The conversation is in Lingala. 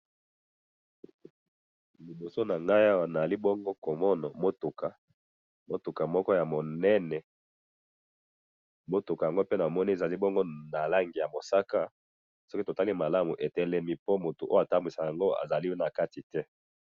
liboso na ngai awa nazali bongo komona mutuka, mutuka moko ya munene, mutuka yango namoni ezali bongo na langi ya mosaka, soki totali malamu etelemi po mutu oyo atambwisaka yango azali na kati te